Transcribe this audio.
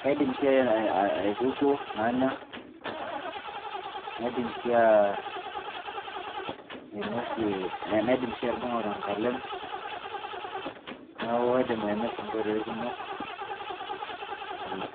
kaidim sii aitukuo nanya. naidim sii ainosie, naidim sii atudungo te nkalem. neeku kaidim ainosie nkoitoi kumok ena.